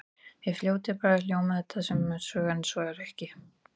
Í fljótu bragði hljómar þetta sem mótsögn en svo er ekki.